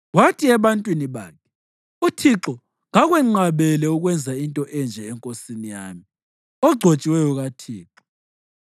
Wathi ebantwini bakhe, “ Uthixo kakwenqabele ukwenza into enje enkosini yami, ogcotshiweyo kaThixo.”